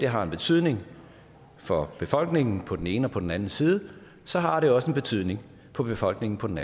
har en betydning for befolkningen på den ene og på den anden side så har det også en betydning for befolkningen på den